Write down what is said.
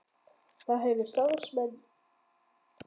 Þá hefur starfsemi samtakanna beinst að því að halda félagsfundi.